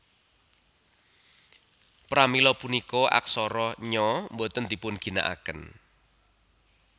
Pramila punika aksara Nya boten dipunginakaken